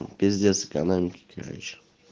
пиздец экономике короче